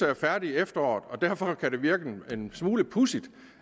er færdig i efteråret derfor kan det virke en smule pudsigt